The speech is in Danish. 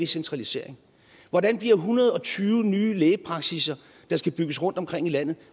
centralisering hvordan bliver en hundrede og tyve nye lægepraksisser der skal bygges rundt omkring i landet